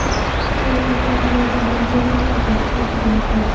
Bu esa ovozlarning to‘g‘ri hisoblanishida juda muhim.